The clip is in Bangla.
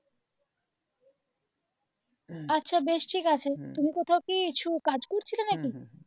আচ্ছা বেশ ঠিক আছে তুমি কোথাও কিছু কাজ করছিলে নাকি?